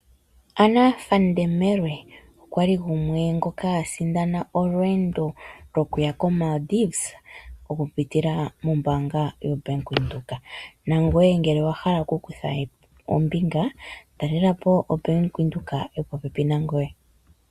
Anna Van Der Merwe okwali gumwe ngoka asindana olweendo okuya lokuya ko Malidives oku pitila mombaanga ya Venduka. Nangoye ngele owahala oku kutha ombinga talelapo ombaanga yaVenduka yopo pepi nangoye.